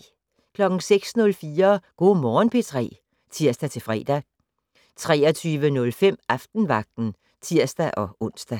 06:04: Go' Morgen P3 (tir-fre) 23:05: Aftenvagten (tir-ons)